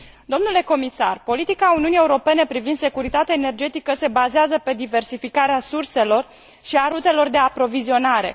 Domnule comisar, politica Uniunii Europene privind securitatea energetică se bazează pe diversificarea surselor și a rutelor de aprovizionare.